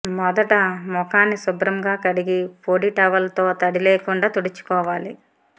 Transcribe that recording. మొదట ముఖాన్ని శుభ్రంగా కడిగి పొడి టవల్ తో తడి లేకుండా తుడుచుకోవాలి